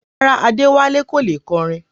Rárá, Adewale kò lè kọrin